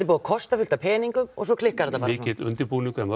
búið að kosta fullt af peningum og svo klikkar þetta bara mikill undirbúningur hjá